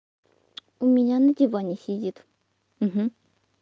у меня на диване сидит